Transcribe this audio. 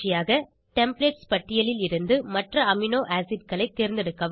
templates பட்டியலில் இருந்து மற்ற அமினோ அசிட் களை தேர்ந்தெடுக்கவும்